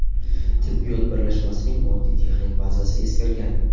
Tibbiyot birlashmasining moddiy texnik bazasi eskirgan.